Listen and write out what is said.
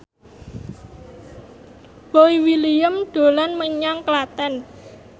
Boy William dolan menyang Klaten